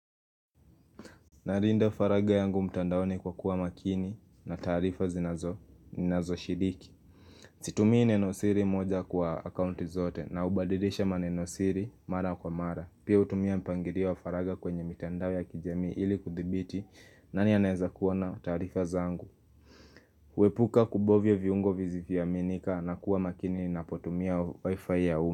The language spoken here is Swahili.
Narinda faraga yangu mtandaoni kwa kuwa makini na taarifa zinazo shiriki Situmii nenosiri moja kwa akaunti zote na ubadirisha manenosiri mara kwa mara Pia utumia mpangirio wa faraga kwenye mitandao ya kijamii ili kuthibiti nani anaeza kuona na taarifa zangu Huepuka kubovya viungo vizivyoaminika na kuwa makini na potumia wifi ya uma.